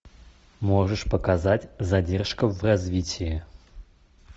можешь показать задержка в развитии